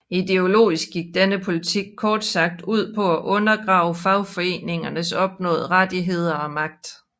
Ideologisk gik denne politik kort sagt ud på at undergrave fagforeningernes opnåede rettigheder og magt